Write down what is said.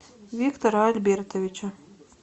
виктора альбертовича